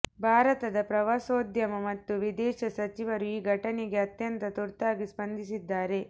ಭಾರತದ ಪ್ರವಾಸೋದ್ಯಮ ಮತ್ತು ವಿದೇಶ ಸಚಿವರು ಈ ಘಟನೆಗೆ ಅತ್ಯಂತ ತುರ್ತಾಗಿ ಸ್ಪಂದಿಸಿದ್ದಾರೆ